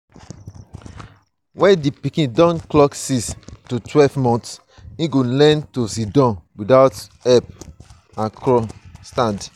when di pikin don clock six to twelve months im go learn to sidon without help crawl and stand